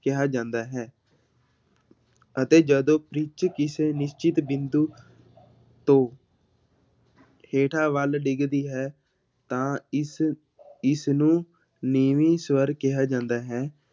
ਕਿਹਾ ਜਾਂਦਾ ਹੈ ਅਤੇ ਜਦੋਂ ਪਿੱਚ ਕਿਸੇ ਨਿਸ਼ਚਿਤ ਬਿੰਦੂ ਤੋਂ ਹੇਠਾਂ ਵੱਲ ਡਿੱਗਦੀ ਹੈ ਤਾਂ ਇਸ ਇਸਨੂੰ ਨੀਵੀਂ ਸਵਰ ਕਿਹਾ ਜਾਂਦਾ ਹੈ।